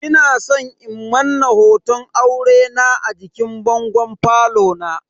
Ina san in Manna hoton aurena a jikin bangon falo na.